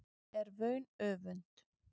er vaun öfund